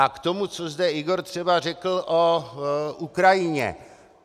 A k tomu, co zde Igor třeba řekl o Ukrajině.